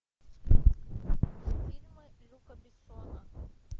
фильмы люка бессона